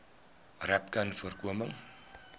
rapcanvoorkoming